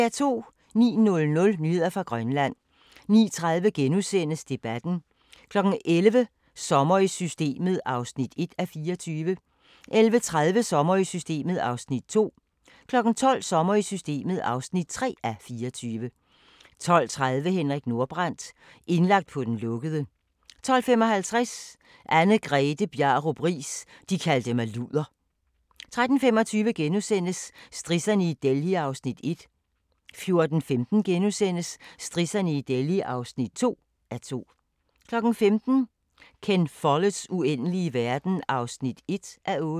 09:00: Nyheder fra Grønland 09:30: Debatten * 11:00: Sommer i Systemet (1:24) 11:30: Sommer i Systemet (2:24) 12:00: Sommer i Systemet (3:24) 12:30: Henrik Nordbrandt – indlagt på den lukkede 12:55: Anne-Grethe Bjarup Riis – de kaldte mig luder 13:25: Strisserne i Delhi (1:2)* 14:15: Strisserne i Delhi (2:2)* 15:00: Ken Folletts uendelige verden (1:8)